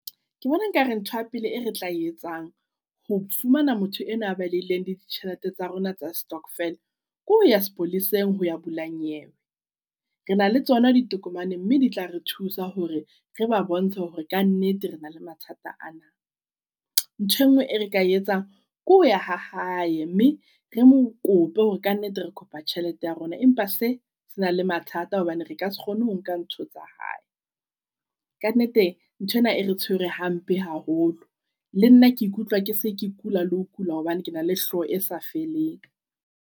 Ke bona nka re ntho ya pele e retla e etsang ho fumana motho enwa ya balehileng le ditjhelete tsa rona tsa stockvel. Ke ho ya sepoleseng ho ya bula nyewe. Re na le tsona ditokomane mme di tla re thusa hore re ba bontshe hore kannete rena le mathata ana. Nthwe ngwe e re ka etsang ke hoya ha hae mme re mo kope hore kannete re kopa tjhelete ya rona. Empa se sena le mathata hobane reka se kgone ho nka ntho tsa hae. Kannete ntho ena e re tshwere hampe haholo. Le nna ke ikutlwa ke se ke kula le ho kula hobane ke na le hlooho e sa feleng.